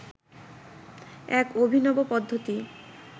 এক অভিনব পদ্ধতি